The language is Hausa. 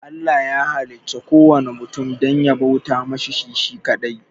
Allah ya halicci kuwanna mutum dan ya bauta masa shi shi kaɗai